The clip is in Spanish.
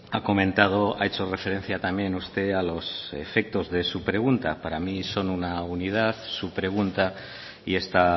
ha comentado ha hecho referencia también usted a los efectos de su pregunta para mí son una unidad su pregunta y esta